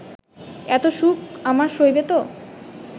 এত সুখ আমার সইবে তো